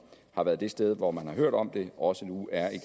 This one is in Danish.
har været det sted hvor man har hørt om det også nu er i